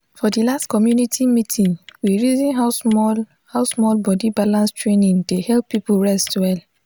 for the last community meeting we reason how small how small body balance training dey help people rest well.